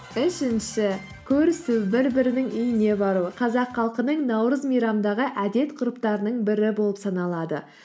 үшінші көрісу бір бірінің үйіне бару қазақ халқының наурыз мейрамындағы әдет ғұрыптарының бірі болып саналады